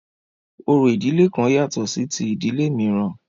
Orò ìdílé kan yàtọ̀ sí ti ìdílé mìíràn.